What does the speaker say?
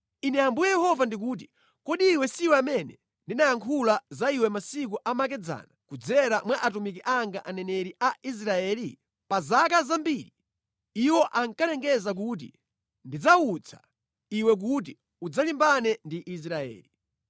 “ ‘Ine Ambuye Yehova ndikuti: Kodi iwe si amene ndinayankhula za iwe masiku amakedzana kudzera mwa atumiki anga aneneri a Israeli? Pa zaka zambiri iwo ankalengeza kuti ndidzawutsa iwe kuti udzalimbane ndi Israeli.